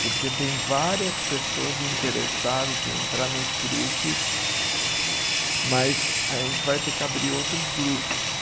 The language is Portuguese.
Porque tem várias pessoas interessadas em entrar nos grupos, mas a gente vai ter que abrir outros grupos.